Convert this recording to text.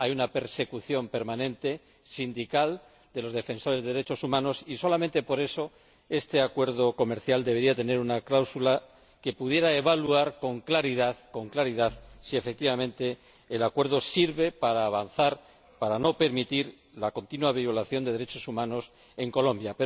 hay una persecución permanente de los sindicatos, de los defensores de los derechos humanos, y, solamente por eso, este Acuerdo comercial debería contener una cláusula que pudiera evaluar con claridad si efectivamente el Acuerdo sirve para avanzar, para no permitir la continua violación de los derechos humanos en Colombia.